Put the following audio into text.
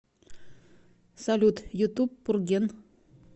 салют ютуб пурген